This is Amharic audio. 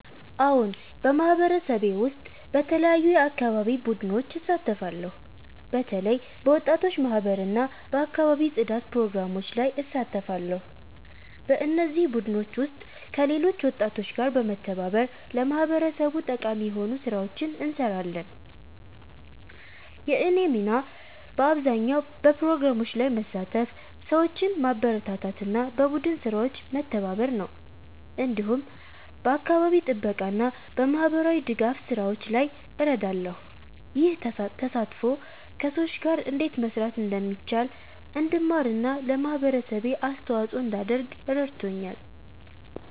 አዎን፣ በማህበረሰቤ ውስጥ በተለያዩ የአካባቢ ቡድኖች እሳተፋለሁ። በተለይ በወጣቶች ማህበር እና በአካባቢ ጽዳት ፕሮግራሞች ላይ እሳተፋለሁ። በእነዚህ ቡድኖች ውስጥ ከሌሎች ወጣቶች ጋር በመተባበር ለማህበረሰቡ ጠቃሚ የሆኑ ስራዎችን እንሰራለን። የእኔ ሚና በአብዛኛው በፕሮግራሞች ላይ መሳተፍ፣ ሰዎችን ማበረታታት እና በቡድን ስራዎች መተባበር ነው። እንዲሁም በአካባቢ ጥበቃ እና በማህበራዊ ድጋፍ ስራዎች ላይ እረዳለሁ። ይህ ተሳትፎ ከሰዎች ጋር እንዴት መስራት እንደሚቻል እንድማር እና ለማህበረሰቤ አስተዋጽኦ እንዳደርግ ረድቶኛል።